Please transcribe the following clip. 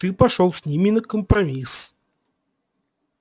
ты пошёл с ними на компромисс